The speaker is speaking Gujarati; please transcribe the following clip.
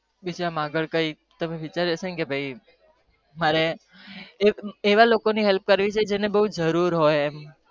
મારે એક એવા લોકો help ની કરવી છે જેન બૌ જરૂર હોય હા